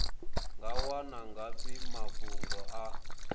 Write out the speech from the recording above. nga wana ngafhi mafhungo a